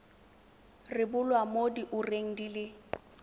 rebolwa mo diureng di le